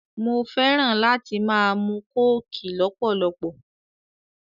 Mo fẹ́ràn láti máa mu kóòkì lọ́pọ̀lọpọ̀